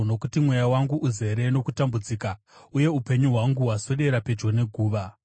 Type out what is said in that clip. Nokuti mweya wangu uzere nokutambudzika, uye upenyu hwangu hwaswedera pedyo neguva.